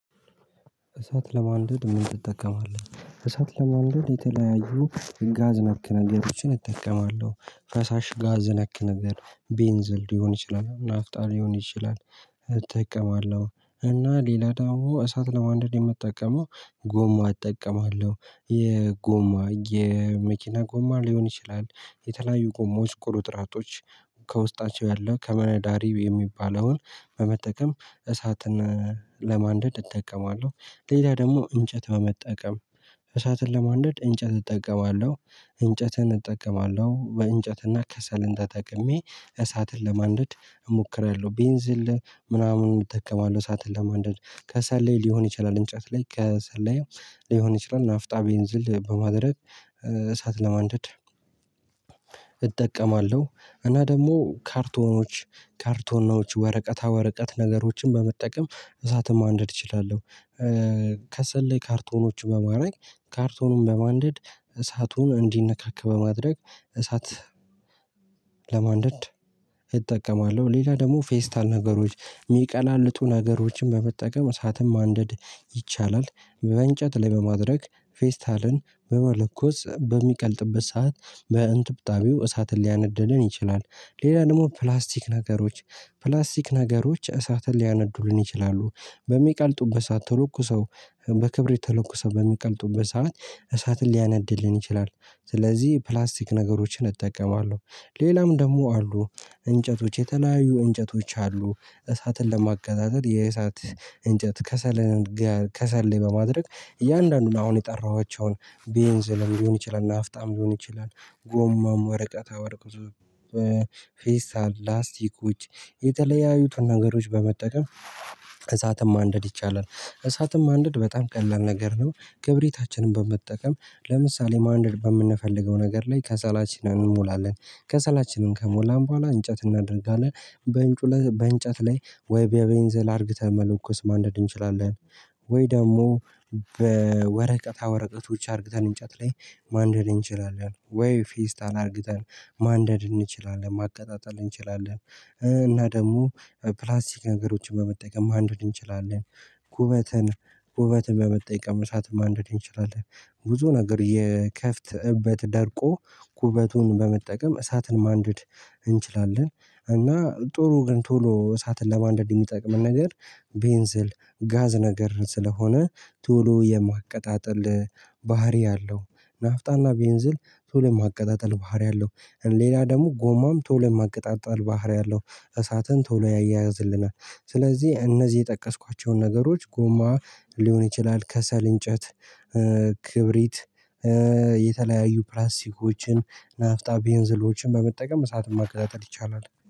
እሳት ለማንደድ ምን ትጠቀማለህ? እሳት ለማንደድ የተለያዩ ጋዝ ነክ ነገሮችን እጠቀማለሁ ፈሳሽ ጋዝ ነክ ነገር ቤንዚል ሊሆን ይችላል ናፍጣ ሊሆን ይችላል። እጠቀማለሁ እና ሌላ ዳውማ እሳት ለማንደድ የምጠቀመው ጎማ እጠቀማለሁ የጎማ የመኪና ጎማ ሊሆን ይችላል የተለያዩ ጎማዎች ቁርጥራጮች ከውስጣቸው ያለው ከመነዳሪው የሚባለውን በመጠቀም እሳትን ለማንደድ እጠቀማለሁ። ሌላ ደግሞ እንጨት በመጠቀም እሳትን ለማንደድ እንጨት እጠቀማለሁ። እንጨትን እጠቀማለሁ በእንጨትና ከሰልን ተጠቅሜ እሳትን ለማንደድ እሞክራለሁ ቤንዝል ምናምን እጠቀማለሁ እሳትን ለማንደድ ከሰለይ ሊሆን ይችላል እንጨት ላይ ከሰላይም ሊሆን ይችላል ናፍጣ ቤንዝል በማድረግ እሳት ለማንደድ እጠቀማለሁ። እና ደግሞ ካርቶኖች ካርቶናዎች ወረቀታ ወረቀት ነገሮችን በመጠቀም እሳትም ማንደድ እችላለሁ። ከሰል ላይ ካርቶኖች በማድረግ ካርቶኑን በማንደድ እሳቱን እንዲነካክ በማድረግ እሳት ለማንደድ እጠቀማለሁ። ሌላ ደግሞ ፌስታል ነገሮች ሚቀላልጡ ነገሮችን በመጠቀም እሳት ማንደድ ይቻላል። በእንጨት ላይ በማድረግ ፌስታልን በመለኮስ በሚቀልጥበት ሰዓት በእንጥብጣቢው እሳትን ሊያነደድን ይችላል። ሌላ ደግሞ ፕላስቲክ ነገሮች ፕላስቲክ ነገሮች እሳትን ሊያነዱልን ይችላሉ በሚቀልጡበት ሰዓት ተለኩሰው በክብሪት ተለኩሰው በሚቀልጡበት ሰዓት እሳትን ሊያነድድልን ይችላል ስለዚህ ፕላስቲክ ነገሮችን እጠቀማለሁ። ሌላም ደግሞ አሉ። እንጨቶች የተለያዩ እንጨቶች አሉ እሳትን ለማቀጣጠል የእሳት እንጨት ከሰል ጋ ከሰል ላይ በማድረግ እያንዳንዱን አሁን የጠራኋቸውን ቤንዝልም ሊሆን ይችላል ናፍጣም ሊሆን ይችላል ጎማም ወረቀታ ወረቀት ፌስታል ላስቲክ ውጭ የተለያዩትን ነገሮች በመጠቀም እሳትም ማንደድ ይቻላል። እሳትም ማንደድ በጣም ቀላል ነገር ነው ክብሪታችን በመጠቀም ለምሳሌ ማንደድ በምንፈልገው ነገር ላይ ከሰላችን እንሞላለን ከሰላችንን ከሞላን በኋላ እንጨት እናደርጋለን። በእንጩ በእንጨት ላይ ወይ በቤንዝል አርግተን መለኮስ ማንደድ እንችላለን። ወይ ደግሞ በወረቀታ ወረቀቶች አርግተን እንጨት ላይ ማንደድ እንችላለን ወይ ፌስታል አርግተን ማንደድ እንችላለን ማቀጣጠል እንችላለን። እና ደግሞ በፕላስቲክ ነገሮችን በመጠቀም ማንደድ እንችላለን። ጉበትን ጉበትን በመጠየቅ እሳትን ማንደድ እንችላለን። ብዙ ነገር የከፍት እበት ደርቆ ኩበቱን በመጠቀም እሳትን ማንደድ እንችላለን። እና ጦሩ ግን ቶሎ እሳትን ለማንደድ ሚጠቅመን ነገር ቤንዝል ጋዝ ነገር ስለሆነ ቶሎ የማቀጣጠል ባህሪ አለው። ናፍጣና ቤንዝል ቶሎ ማቀጣጠል ባህሪ አለው። ሌላ ደግሞ ጎማም ቶሎ የማቀጣጠል ባህሪ አለው። እሳትን ቶሎ ያያይዝልናል። ስለዚህ እነዚህ የጠቀስኳቸው ነገሮች ጎማ ሊሆን ይችላል ከሰል እንጨት ክብሪት የተለያዩ ፕላስቲኮችን ናፍጣ ቤንዝሎችን በመጠቀም እሳትም ማቅጣጠር ይቻላል